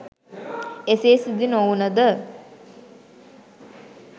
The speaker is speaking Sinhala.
එසේ සිදු නොවුනද